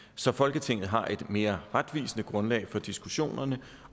så folketinget har et mere retvisende grundlag for diskussionerne